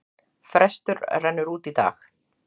Frestur rennur út í dag.